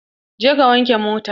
Je ka wanke motan!